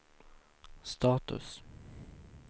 status